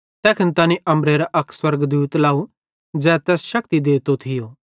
तैखन तैनी अम्बरेरां अक स्वर्गदूत लाव ज़ै तैस शक्ति देतो थियो